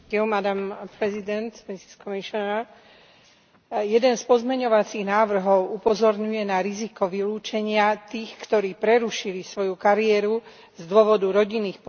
Jeden z pozmeňujúcich návrhov upozorňuje na riziko vylúčenia tých, ktorí prerušili svoju kariéru z dôvodu rodinných povinností, ako napríklad rodinní opatrovatelia.